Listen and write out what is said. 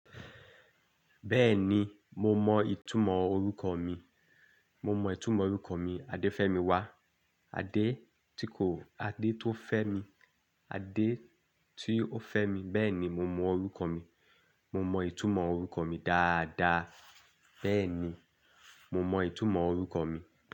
Bẹ́ẹ̀ni, mo mọ ìtumọ̀ orúkọ mi. Mo mọ ìtumọ̀ orúkọ mi, Adéfẹ́mi wá. Adé tí kò, Adé tó ń fẹ́ mi, Adé tí ó fẹ́ mi. Bẹ́ẹ̀ni, mo mọ orúkọ mi. Mo mọ ìtumọ̀ orúkọ mi dáadáa. Bẹ́ẹ̀ni, mo mọ ìtumọ̀ orúkọ mi.